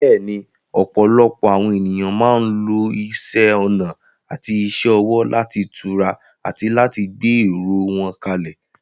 Bẹ́ẹ̀ni, ọ̀pọ̀lọpọ̀ àwọn ènìyàn máa ń lo isẹ́ ọnà àti iṣẹ́ ọwọ́ láti tura àti láti gbé èrò wọn kalẹ̀.